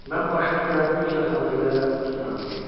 Mən başıma gələni güclə xatırlayaraq öz otağıma getdim.